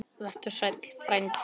Vertu sæll frændi.